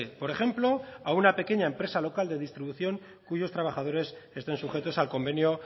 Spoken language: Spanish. por ejemplo a una pequeña empresa local de distribución cuyos trabajadores estén sujetos al convenio